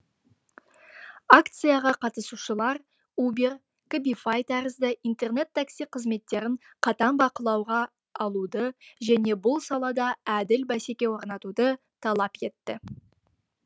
акцияға қатысушылар убер кабифай тәрізді интернет такси қызметтерін қатаң бақылауға алуды және бұл салада әділ бәсеке орнатуды талап етті